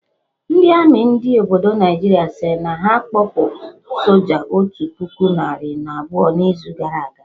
Ndị army ndị obodo Naijiria sịrị na ha kpọpụ soja otu puku narị na abụọ na izu gara aga